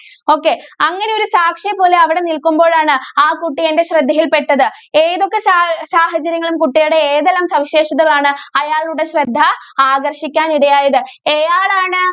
okay, അങ്ങനെയൊരു സാക്ഷിയെ പോലെ അവിടെ നില്‍ക്കുമ്പോഴാണ് ആ കുട്ടി എന്‍റെ ശ്രദ്ധയില്‍പ്പെട്ടത്. ഏതൊക്കെ സാഹ്~സാഹചര്യങ്ങളും, കുട്ടിയുടെ ഏതെല്ലാം സവിശേഷതകളാണ് അയാളുടെ ശ്രദ്ധ ആകര്‍ഷിക്കാൻ ഇടയായത്‌? എയാളാണ്?